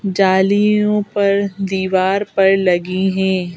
जालियों पर दीवार पर लगी हैं।